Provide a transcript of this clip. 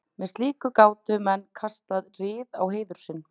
með slíku gátu menn kastað rýrð á heiður sinn